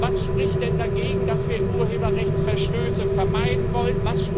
Was spricht denn dagegen, dass wir Urheberrechtsverstöße vermeiden wollen?